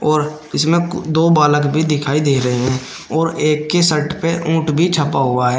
और इसमें दो बालक भी दिखाई दे रहे हैं और एक के शर्ट पे ऊंट भी छपा हुआ है।